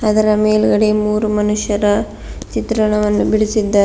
ಅದರ ಮೇಲ್ಗಡೆ ಮೂರು ಮನುಷ್ಯರ ಚಿತ್ರಣವನ್ನು ಬಿಡಿಸಿದ್ದಾ--